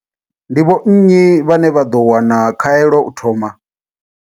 Ndi vho nnyi vhane vha ḓo wana khaelo u thoma?